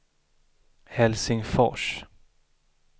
Helsingfors